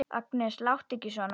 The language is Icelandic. Agnes, láttu ekki svona!